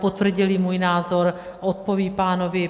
Potvrdili můj názor, odpovědí pánovi.